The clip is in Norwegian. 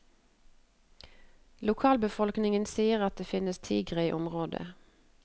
Lokalbefolkningen sier at det finnes tiger i området.